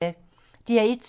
DR1